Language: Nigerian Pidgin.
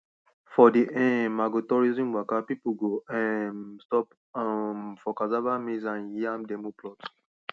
for the um agrotourism waka people go um stop um for cassava maize and yam demo plots